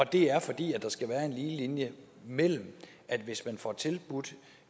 det er fordi der skal være en lige linje mellem at hvis man får tilbudt